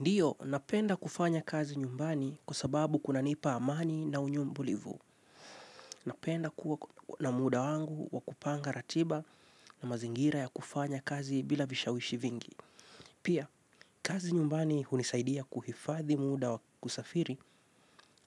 Ndiyo, napenda kufanya kazi nyumbani kwa sababu kuna nipa amani na unyumbulivu. Napenda kuwa na muda wangu wa kupanga ratiba na mazingira ya kufanya kazi bila vishawishi vingi. Pia, kazi nyumbani hunisaidia kuhifadhi muda wa kusafiri